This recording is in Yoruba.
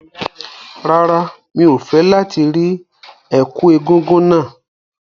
Rárá, mi ò fẹ́ láti rí ẹ̀kú egúngún náà.